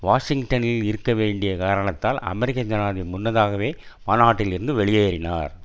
வாஷிங்டனில் இருக்க வேண்டிய காரணத்தால் அமெரிக்க ஜனாதிபதி முன்னதாகவே மாநாட்டிலிருந்து வெளியேறினார்